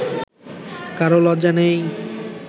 কারও লজ্জা নেই